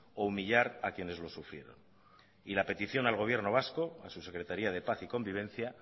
o humillar a quienes lo sufrieron y la petición al gobierno vasco a su secretaría de paz y convivencia